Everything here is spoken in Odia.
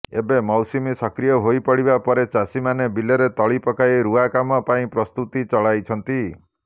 ଏବେ ମୌସୁମୀ ସକ୍ରିୟ ହୋଇପଡ଼ିବା ପରେ ଚାଷୀମାନେ ବିଲରେ ତଳି ପକାଇ ରୁଆ କାମ ପାଇଁ ପ୍ରସ୍ତୁତି ଚଳାଇଛନ୍ତି